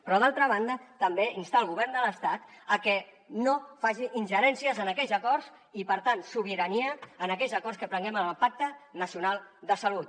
però d’altra banda també instar el govern de l’estat a que no faci ingerències en aquells acords i per tant sobirania que prenguem en el pacte nacional de salut